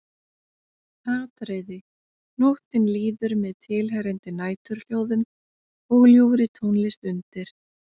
Atriði Nóttin líður með tilheyrandi næturhljóðum og ljúfri tónlist undir.